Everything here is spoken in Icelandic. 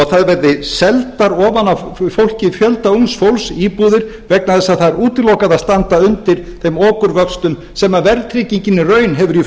það verði seldar ofan af fólki fjölda ungs fólks íbúðir vegna þess að það er útilokað að standa undir þeim okurvöxtum sem verðtryggingin í raun hefur í